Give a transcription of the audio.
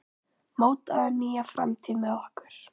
Mótaðu nýja framtíð með okkur!